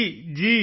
ਜੀ ਜੀ